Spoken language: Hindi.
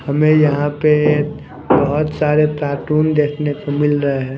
हमें यहां पे बहुत सारे कार्टून देखने को मिल रहा है।